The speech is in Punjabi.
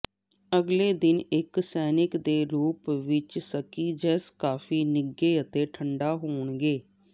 ਅਗਲੇ ਦਿਨ ਇੱਕ ਸਨੈਕ ਦੇ ਰੂਪ ਵਿੱਚ ਸਕਿਜੇਜ਼ ਕਾਫੀ ਨਿੱਘੇ ਅਤੇ ਠੰਢਾ ਹੋਣਗੇ